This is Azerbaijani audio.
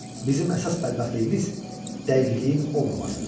Bizim əsas bədbəxtliyimiz dəqiqliyin olmamasıdır.